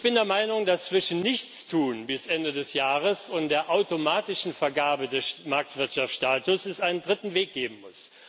Ich bin der Meinung, dass es zwischen Nichtstun bis Ende des Jahres und der automatischen Vergabe des Marktwirtschaftsstatus einen dritten Weg geben muss.